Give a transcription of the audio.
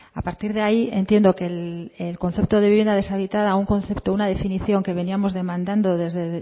a partir de ahí entiendo que el concepto de vivienda deshabitada un concepto una definición que veníamos demandando desde